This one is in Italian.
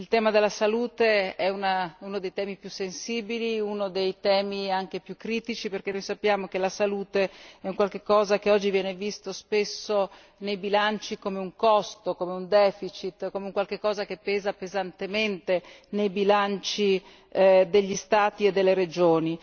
Il tema della salute è uno dei temi più sensibili e anche uno dei temi più critici, perché noi sappiano che la salute è un qualche cosa che oggi viene visto spesso nei bilanci come un costo, come un deficit, come un qualche cosa che pesa pesantemente nei bilanci degli Stati e delle regioni.